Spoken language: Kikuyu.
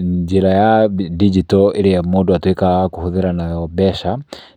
Njĩra ya ndinjito ĩrĩa mũndũ atuĩkaga wa kũhũthĩra nayo mbeca